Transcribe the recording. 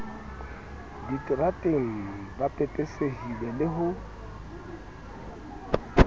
diterateng ba pepesehile le ho